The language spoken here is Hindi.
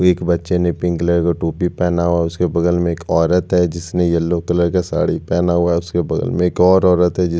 वो एक बच्चे ने पिंक कलर का टोपी पहना हुआ है उसके बगल में एक औरत है जिसने येलो कलर का साड़ी पहना हुआ है उसके बगल में एक और औरत है जिस --